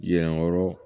Yɛrɛyɔrɔ